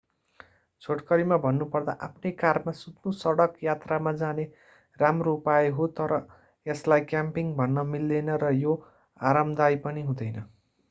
छोटकरीमा भन्नुपर्दा आफ्नै कारमा सुत्नु सडक यात्रामा जाने राम्रो उपाय हो तर यसलाई क्याम्पिङ भन्न मिल्दैन र यो आरामदायी पनि हुँदैन